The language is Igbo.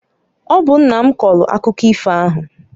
Ọ bụ nna m kọọlụ akụkọ ifo ahụ.